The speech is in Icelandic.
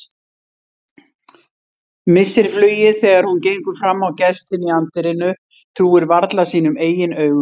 Missir flugið þegar hún gengur fram á gestinn í anddyrinu, trúir varla sínum eigin augum.